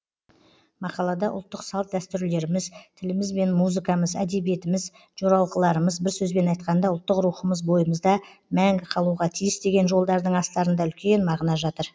мақалада ұлттық салт дәстүрлеріміз тіліміз бен музыкамыз әдебиетіміз жоралғыларымыз бір сөзбен айтқанда ұлттық рухымыз бойымызда мәңгі қалуға тиіс деген жолдардың астарында үлкен мағына жатыр